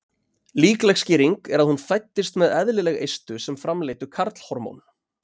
Líkleg skýring er að hún fæddist með eðlileg eistu sem framleiddu karlhormón.